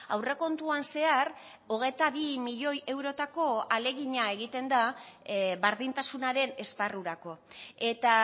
aurrekontuan zehar hogeita bi milioi eurotako ahalegina egiten da berdintasunaren esparrurako eta